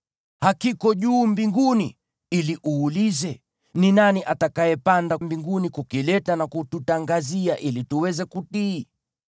Hakiko juu mbinguni, ili uulize, “Ni nani atakayepanda mbinguni kukileta na kututangazia ili tuweze kutii?”